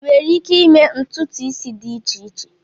Ịnwere ike ịme ntụtụ isi dị iche iche?